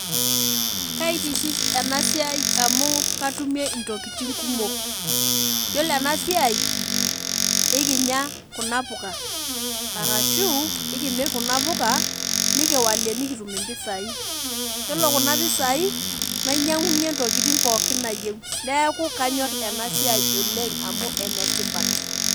Kaitiship enasiai amu katumie ntokitin kumok , yiolo enasiai ikinya kunapuka arashu ekimir kunapuka nikiwalie nikitum impisai , yiolo kuna pisai nainyiangunyie ntokitin pookin nayieu neeku kanyor enasiai oleng amu enetipat.